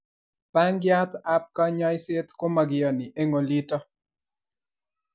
bangiat ab kanyaiset ko makiyani eng olitok